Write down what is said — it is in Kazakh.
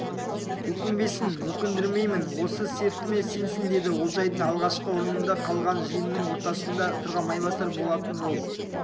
өкінбесін өкіндірмеймін осы сертіме сенсін деді олжайдың алғашқы орнында қалған жиынының ортасында тұрған майбасар болатын ол